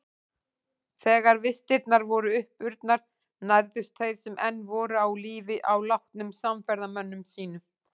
Þegar vistirnar voru uppurnar nærðust þeir sem enn voru á lífi á látnum samferðamönnum sínum.